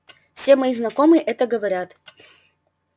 все мои знакомые это говорят